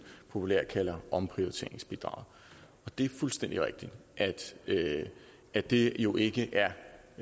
populært kalder omprioriteringsbidraget det er fuldstændig rigtigt at det jo ikke er